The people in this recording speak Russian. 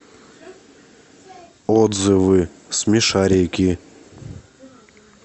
отзывы смешарики